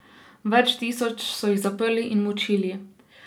Več tisoč so jih zaprli in mučili.